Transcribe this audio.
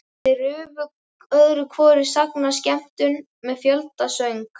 Þeir rufu öðru hvoru sagnaskemmtun með fjöldasöng.